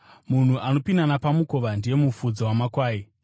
Munhu anopinda napamukova ndiye mufudzi wamakwai.